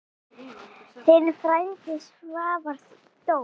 Þinn frændi, Svavar Dór.